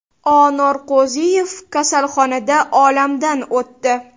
O. Norqo‘ziyev kasalxonada olamdan o‘tdi.